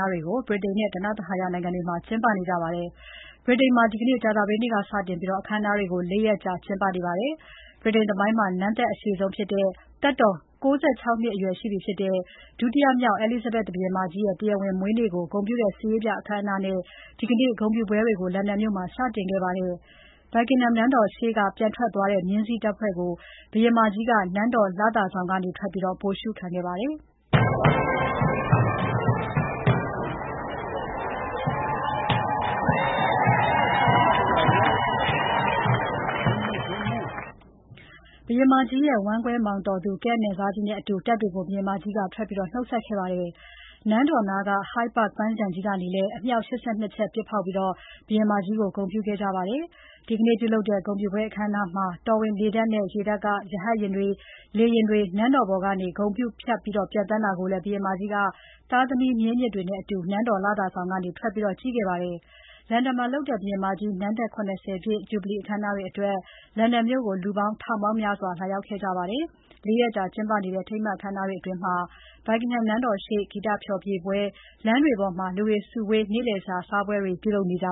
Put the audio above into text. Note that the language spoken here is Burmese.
ားတွေကို ဗြိတိန်နဲ့ ဓနဿဟာယနိုင်ငံတွေမှာ ကျင်းပ နေကြပါတယ်။ ဗြိတိန်မှာ ဒီနေ့ ကြာသပတေးနေ့က စတင်ပြီး အခမ်းအနားတွေကို ၄ ရက်ကြာကျင်းပမှာဖြစ်ပါတယ်။ ဗြိတိန်သမိုင်းမှာ နန်းသက်အရှည်ဆုံးဖြစ်တဲ့ သက်တော် ၉၆ နှစ် ရှိပြီဖြစ်တဲ့ ဒုတိယမြောက် Elizabeth ဘုရင်မကြီးရဲ့ တရားဝင်မွေးနေ့ကို ဂုဏ်ပြုတဲ့ စစ်ရေးပြအခမ်းအနားနဲ့ ဒီနေ့ ဂုဏ်ပြုပွဲတွေကို လန်ဒန်မြို့မှာ စတင်ခဲ့ပါတယ်။ Buckingham နန်းတော်ရှေ့က ပြန်ထွက်သွားတဲ့ မြင်းစီးတပ်တွေကို ဘုရင်မကြီးက နန်းတော် လသာဆောင်ကနေ ထွက်ပြီး ဗိုလ်ရှုခံခဲ့ပါတယ်။ ဘုရင်မကြီးရဲ့ ဝမ်းကွဲမောင်တော်သူ Kent နယ်စားကြီးနဲ့အတူ တပ်တွေကို နှုတ်ဆက်ခဲ့ပါတယ်။ နန်းတော်နားက Hyde Park ပန်းခြံကြီးကနေလည်း အမြှောက် ၈၂ ချက်ပစ်ဖောက်ပြီး ဘုရင်မကြီးကို ဂုဏ်ပြုခဲ့ပါတယ်။ ဒီနေ့ပြုလုပ်တဲ့ ဂုဏ်ပြုပွဲ အခမ်းအနားမှာ တော်ဝင်လေတပ်နဲ့ ရေတပ်က ရဟတ်ယဉ်တွေ လေယာဉ် နန်းတော်ပေါ်က ဂုဏ်ပြု ဖြတ်ပျံသန်းတာကိုလည်း ဘုရင်မကြီးက သားသမီး မြေးမြစ်တွေနဲ့အတူ နန်းတော် လသာဆောင်ကနေ ထွက်ကြည့်ခဲ့ပါတယ်။ လန်ဒန်မှာလုပ်တဲ့ ဘုရင်မကြီး နန်းသက် ၇၀ ပြည့် Jubilee အခမ်းအနားအတွက် လန်ဒန်မြို့မှာ လူပေါင်း ထောင်ပေါင်းများစွ ာလာရောက်ခဲ့ကြပါတယ်။ ၄ ရက်ကြာကျင်းပနေတဲ့ အထိမ်းအမှတ် အခမ်းအနားတွေအတွင်း Buckingham နန်းတော်ရှေ့ ဂီတဖျော်ဖြေပွဲ၊ လမ်းတွေပေါ်မှာ လူတွေ စုဝေး နေ့လည်စာစားပွဲတွေ ပြုလုပ်ကြ